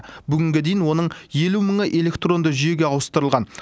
бүгінге дейін оның елу мыңы электронды жүйеге ауыстырылған